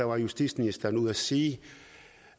var justitsministeren ude at sige